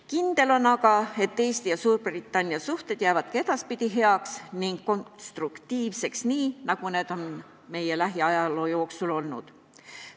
Kindel on aga, et Eesti ja Suurbritannia suhted jäävad edaspidigi heaks ning konstruktiivseks, nii nagu need on lähiajaloo jooksul olnud.